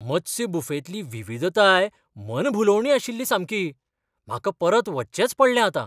मत्स्य बुफेंतली विविधताय मन भुलोवणी आशिल्ली सामकी! म्हाका परत वचचेंच पडलें आतां.